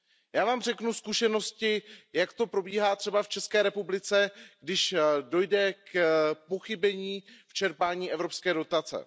Já vám řeknu zkušenosti, jak to probíhá třeba v České republice, když dojde k pochybení v čerpání evropské dotace.